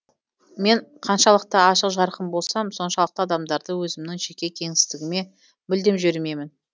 мен қаншалықты ашық жарқын болсам соншалықты адамдарды өзімнің жеке кеңістігіме мүлдем жібермеймін